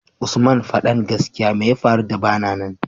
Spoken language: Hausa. usman fadan gaskia meya faru da bana nan